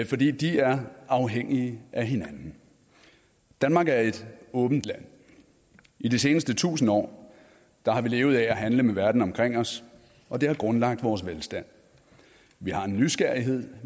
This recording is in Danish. fordi de er afhængige af hinanden danmark er et åbent land i de seneste tusind år har vi levet af at handle med verden omkring os og det har grundlagt vores velstand vi har en nysgerrighed